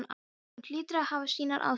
Hún hlýtur að hafa sínar ástæður.